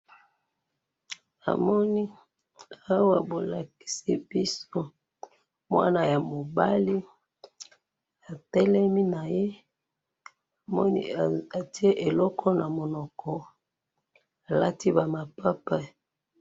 Namoni awa bolakisi biso mwana yamobali, atelemi naye, atye eloko namunoko, alati bamapapa